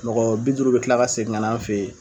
Mɔgɔ bi duuru bɛ kila ka segin kana an fɛ ye.